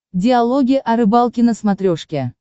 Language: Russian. диалоги о рыбалке на смотрешке